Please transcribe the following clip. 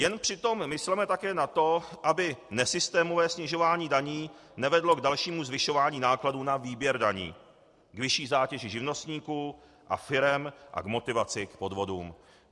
Jen přitom mysleme také na to, aby nesystémové snižování daní nevedlo k dalšímu zvyšování nákladů na výběr daní, k vyšší zátěži živnostníků a firem a k motivaci k podvodům.